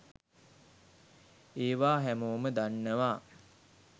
ඒවා හැමෝම දන්නවා